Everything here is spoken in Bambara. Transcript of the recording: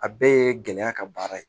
A bɛɛ ye gɛlɛya ka baara ye